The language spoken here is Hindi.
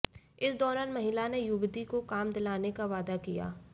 इस दौरान महिला ने युवती को काम दिलाने का वादा किया